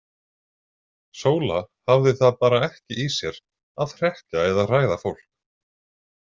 Sóla hafði það bara ekki í sér að hrekkja eða hræða fólk.